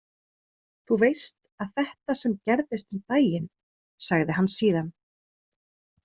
Þú veist að þetta sem gerðist um daginn, sagði hann síðan.